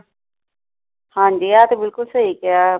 ਹਾਂ ਜੀ ਆ ਤੇ ਬਿੱਲਕੁੱਲ ਸਹੀ ਕਿਹਾ।